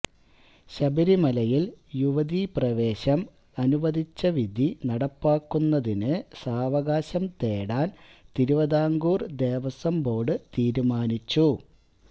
ശബരിമലയില് യുവതീപ്രവേശം അനുവദിച്ച വിധി നടപ്പാക്കുന്നതിന് സാവകാശം തേടാന് തിരുവതാംകൂര് ദേവസ്വം ബോര്ഡ് തീരുമാനിച്ചു